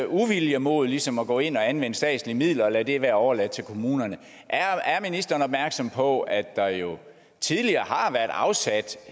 uvilje mod ligesom at gå ind og anvende statslige midler hvor man lader det være overladt til kommunerne er ministeren opmærksom på at der jo tidligere har været afsat